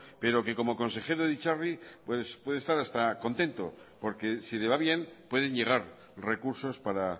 pero que como consejero de itzarri pues puede estar hasta contento porque si le va bien pueden llegar recursos para